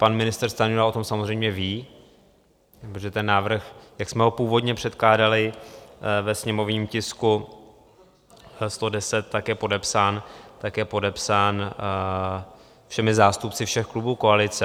Pan ministr Stanjura o tom samozřejmě ví, protože ten návrh, jak jsme ho původně předkládali ve sněmovním tisku 110, tak je podepsán všemi zástupci všech klubů koalice.